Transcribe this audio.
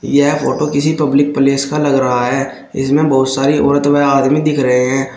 यंह photo किसी public place का लग रहा है इसमें बहुत सारी औरत व आदमी दिखे रहे हैं।